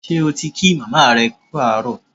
Ṣé o ti kí màmá rẹ kú àárọ̀?